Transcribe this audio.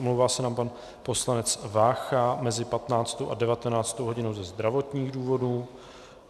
Omlouvá se nám pan poslanec Vácha mezi 15. a 19. hodinou ze zdravotních důvodů.